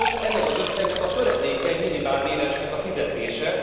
Sőt, ennek az összegnek a töredéke egy minimálbéresnek a fizetése.